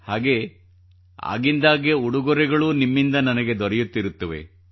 ಹಾಗೇ ಆಗಿಂದಾಗ್ಗೆ ಉಡುಗೊರೆಗಳೂ ನಿಮ್ಮಿಂದ ನನಗೆ ದೊರೆಯುತ್ತಿರುತ್ತವೆ